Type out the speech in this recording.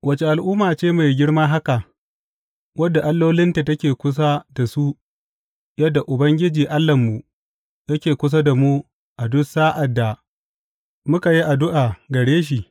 Wace al’umma ce mai girma haka wadda allolinta take kusa da su yadda Ubangiji Allahnmu yake kusa da mu a duk sa’ad da muka yi addu’a gare shi?